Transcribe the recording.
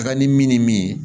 Taga ni min ni min ye